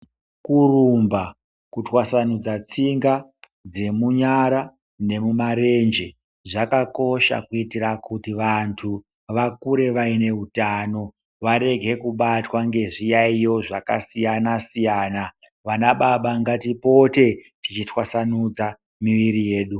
Kurumba, kutwasanudza tsinga dzemunyara nemumarenje zvakakosha kuitira kuti vantu vakure vaine hutano varege kubatwa ngezviyaiyo zvakasiyana-siyana. Vana baba ngatipote tichitwasanudza miviri yedu.